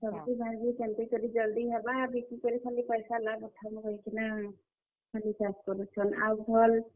सब्जी କେନ୍ତା କରି ଜଲ୍ ଦି ହେବା, ଆଉ ବିକି କରି ସବୁ ପଏସା ଲାଭ୍ ଉଠାମୁଁ କହି କିନା, ଖାଲି ଚାଷ୍ କରୁଛନ୍।